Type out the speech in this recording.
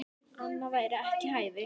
Annað væri ekki við hæfi.